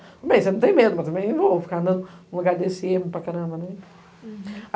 Bem, você não tem medo, mas também eu vou ficar andando um agá dê cê para caramba, não é?